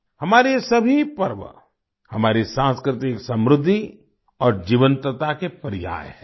हमारे ये सभी पर्व हमारी सांस्कृतिक समृद्धि और जीवंतता के पर्याय हैं